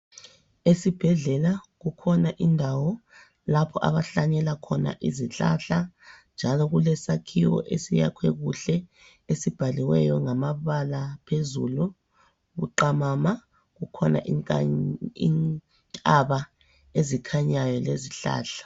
Esibhedlela kukhona indawo lapho abahlanyela khona izihlahla njalo kulesakhiwo esiyakhwe kuhle esibhaliweyo ngamabala phezulu buqamama kukhona intaba ezikhanyayo lezihlahla.